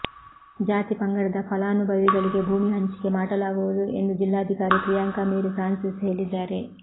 ಜಾತಿ ಪಂಗಡದ ಫಲಾನುಭವಿಗಳಿಗೆ ಭೂಮಿ ಹಂಚಿಕೆ ಮಾಡಲಾಗುವುದು ಎಂದು ಜಿಲ್ಲಾಧಿಕಾರಿ ಪ್ರಿಯಾಂಕ ಮೇರಿ ಫ್ರಾನ್ಸಿಸ್ ಹೇಳಿದ್ದಾರೆ